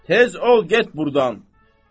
Tez ol, get burdan.